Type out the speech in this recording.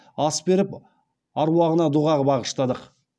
ас беріп аруағына дұғағ бағыштадық